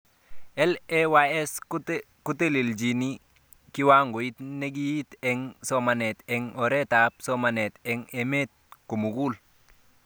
LAYS kotelechini kiwangoit nekiite eng somanet eng oritab somanet eng emet kotugul